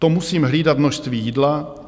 To musím hlídat množství jídla.